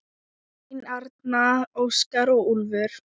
Elín Arna, Óskar og Úlfur.